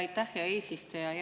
Aitäh, hea eesistuja!